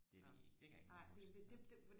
det ved jeg ikke det kan jeg ikke lige huske nå